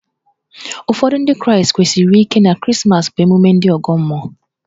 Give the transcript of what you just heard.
Ụfọdụ Ndị Kraịstị kwenyesiri ike na Krismas bụ ememme ndị ọgọ mmụọ.